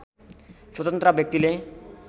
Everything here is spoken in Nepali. स्वतन्त्र व्यक्तिले